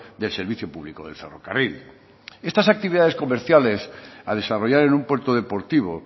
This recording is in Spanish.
del servicio público del ferrocarril estas actividades comerciales a desarrollar en un puerto deportivo